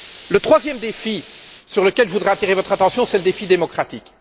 Le troisième défi sur lequel je voudrais attirer votre attention est le défi démocratique.